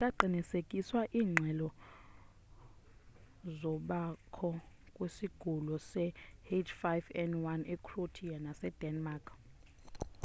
azikaqinisekiswa iingxelozokubakho kwesigulo se-h5n1 ecroatia nasedenmark